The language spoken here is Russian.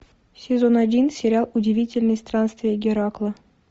сезон один сериал удивительные странствия геракла